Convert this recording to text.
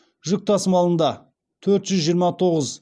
жүк тасымалында төрт жүз жиырма тоғыз